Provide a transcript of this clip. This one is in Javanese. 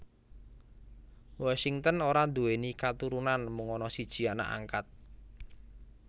Washington ora nduwèni katurunan mung ana siji anak angkat